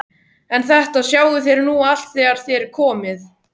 En þetta sjáið þér nú allt þegar þér komið.